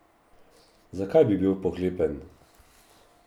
Zakaj bi bil pohlepen?